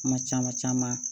Kuma caman caman